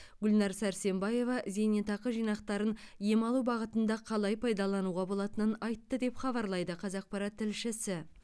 гүлнар сәрсенбаева зейнетақы жинақтарын ем алу бағытында қалай пайдалануға болатынын айтты деп хабарлайды қазақпарат тілшісі